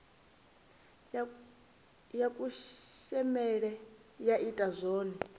ya kushemele ya ita zwone